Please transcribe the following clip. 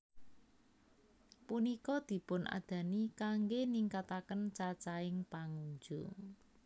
Punika dipunadani kanggé ningkataken cacahing pangunjung